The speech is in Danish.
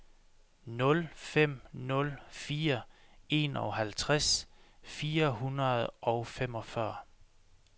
nul fem nul fire enoghalvtreds fire hundrede og femogfyrre